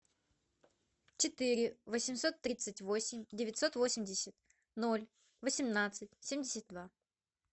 четыре восемьсот тридцать восемь девятьсот восемьдесят ноль восемнадцать семьдесят два